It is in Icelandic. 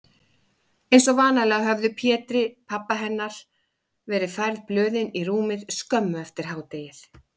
Einsog vanalega höfðu Pétri, pabba hennar, verið færð blöðin í rúmið skömmu eftir hádegið.